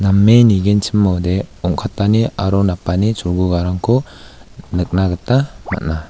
name nigenchimode ong·katani aro napani cholgugarangko nikna gita man·a.